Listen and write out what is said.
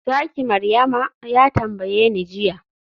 zaki Maryama?, ya tambayeni jiya